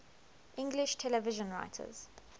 english television writers